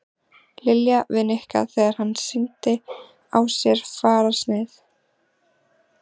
Lilja við Nikka þegar hann sýndi á sér fararsnið.